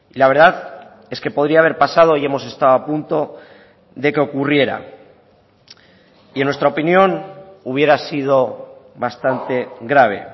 la verdad es que podría haber pasado hoy hemos estado a punto de que ocurriera y en nuestra opinión hubiera sido bastante grave